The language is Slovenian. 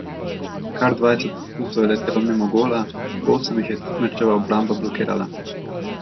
Kar dvajset poskusov je letelo mimo gola, osem jih je tekmečeva obramba blokirala.